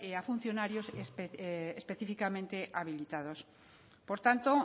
a los funcionarios específicamente habilitados por tanto